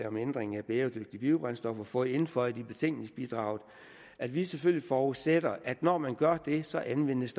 om ændring af bæredygtige biobrændstoffer fået indføjet i betænkningsbidraget at vi selvfølgelig forudsætter at der når man gør det så anvendes